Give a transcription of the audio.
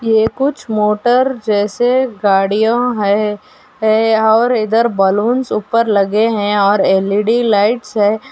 ये कुछ मोटर जैसे गाड़ियां है। है और इधर बलून्स ऊपर लगे हैं और एल.ई.डी. लाइट्स हैं।